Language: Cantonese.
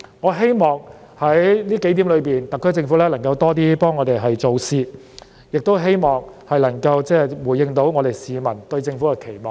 我希望特區政府能在這數點上為我們多做點事，亦希望特區政府能回應市民對它的期望。